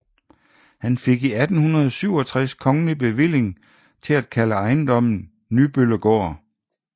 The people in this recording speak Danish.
Han fik i 1867 kongelig bevilling til at kalde ejendommen Nybøllegaard